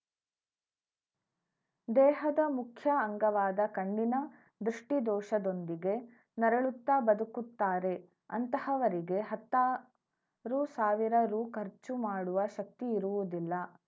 ದೇಹದ ಮುಖ್ಯ ಅಂಗವಾದ ಕಣ್ಣಿನ ದೃಷ್ಟಿದೋಷದೊಂದಿಗೆ ನರಳುತ್ತಾ ಬದುಕುತ್ತಾರೆ ಅಂತಹವರಿಗೆ ಹತ್ತಾರು ಸಾವಿರ ರೂ ಖರ್ಚು ಮಾಡುವ ಶಕ್ತಿ ಇರುವುದಿಲ್ಲ